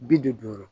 Bi duuru